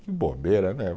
Que bobeira, né?